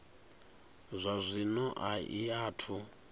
zwa zwino a i athu